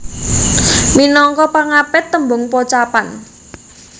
Minangka pangapit tembung pocapan